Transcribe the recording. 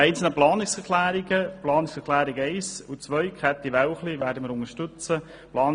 Die Planungserklärungen 1 und 2 unterstützen wir.